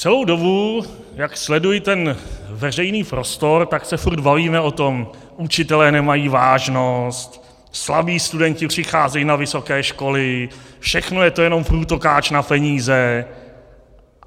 Celou dobu, jak sleduji ten veřejný prostor, tak se furt bavíme o tom - učitelé nemají vážnost, slabí studenti přicházejí na vysoké školy, všechno je to jenom průtokáč na peníze.